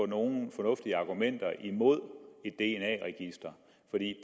nogen fornuftige argumenter imod